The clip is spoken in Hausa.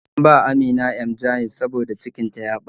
An bawa amina Emgyl saboda cikin ta ya ɓaci